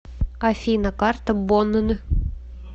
афина карта бонн